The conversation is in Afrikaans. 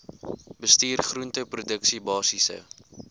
bestuur groenteproduksie basiese